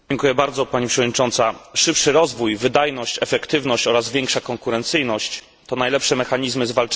Szybszy rozwój, wydajność, efektywność oraz większa konkurencyjność to najlepsze mechanizmy zwalczania problemów gospodarczych.